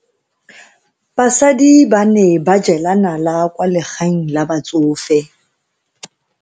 Basadi ba ne ba jela nala kwaa legaeng la batsofe.